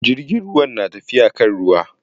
Jirgin ruwan na tafiya kan ruwa.